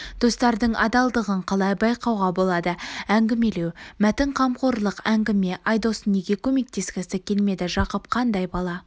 достардың адалдығын қалай байқауға болады әңгімелеу мәтін қамқорлық әңгіме айдос неге көмектескісі келмеді жақып қандай бала